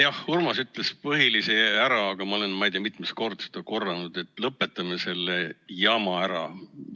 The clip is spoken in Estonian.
Jah, Urmas ütles põhilise ära, aga ma olen ei tea mitu korda seda korranud, et lõpetame selle jama ära.